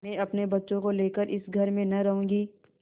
मैं अपने बच्चों को लेकर इस घर में न रहूँगी